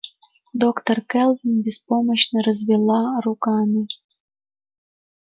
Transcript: доктор кэлвин беспомощно развела руками